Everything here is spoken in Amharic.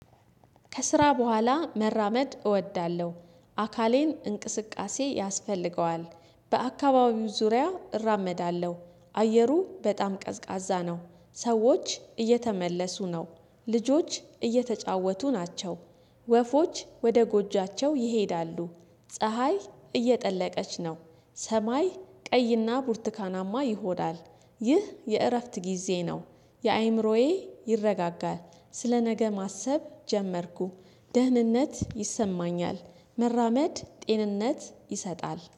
ከስራ በኋላ መራመድ እወዳለሁ። አካሌን እንቅስቃሴ ያስፈልገዋል። በአካባቢው ዙሪያ እራመዳለሁ። አየሩ በጣም ቀዝቃዛ ነው። ሰዎች እየተመለሱ ነው። ልጆች እየተጫወቱ ናቸው። ወፎች ወደ ጎጆዋቸው ይሄዳሉ። ፀሀይ እየጠለቀች ነው። ሰማይ ቀይና ቡርትካናማ ይሆናል። ይህ የእረፍት ጊዜ ነው። የአእምሮዬ ይረጋጋል። ስለ ነገ ማሰብ ጀመርኩ። ደህንነት ይሰማኛል። መራመድ ጤንነት ይሰጣል